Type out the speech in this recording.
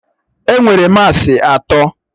Enwere massị atọ